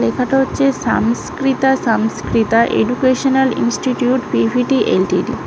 লেখাটা হচ্ছে Sanskrita Sanskrita educational institute P V T . L .T D..